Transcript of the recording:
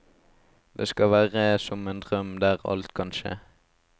Det skal være som en drøm der alt kan skje.